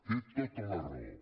té tota la raó